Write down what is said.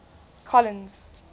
colins